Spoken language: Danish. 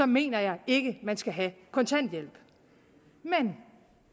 mener jeg ikke at man skal have kontanthjælp men